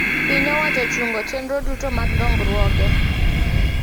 Piny owacho ochungo chenro duto mag dongruoge